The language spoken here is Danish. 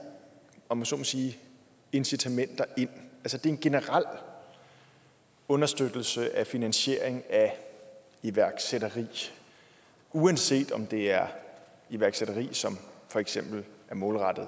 om jeg så må sige incitamenter ind det er en generel understøttelse af finansiering af iværksætteri uanset om det er iværksætteri som for eksempel er målrettet